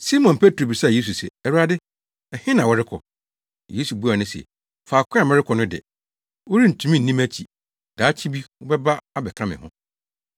Simon Petro bisaa Yesu se “Awurade, ɛhe na worekɔ?” Yesu buaa no se, “Faako a merekɔ no de, worentumi nni mʼakyi; daakye bi wobɛba abɛka me ho.”